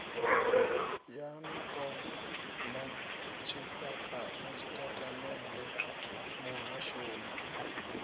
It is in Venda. ya npo na tshitatamennde muhashoni